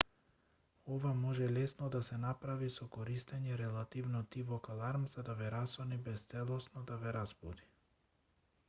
ова може лесно да се направи со користење релативно тивок аларм за да ве расони без целосно да ве разбуди